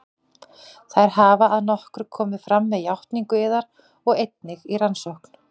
Þær hafa að nokkru komið fram með játningu yðar og einnig í rannsókn